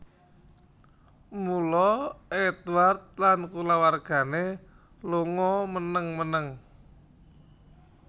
Mula Édward lan kulawargané lunga meneng meneng